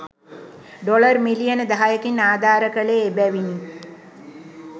Dollar මිලියන දහයකින්ආධාර කළේ එබැවිනි.